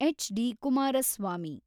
H D Kumaraswamy